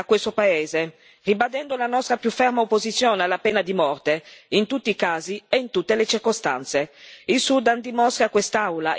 Ci aspettiamo un segnale forte da questo paese, ribadendo la nostra più ferma opposizione alla pena di morte in tutti i casi e in tutte le circostanze.